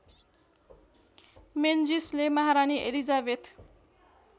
मेन्जिसले महारानी एलिजाबेथ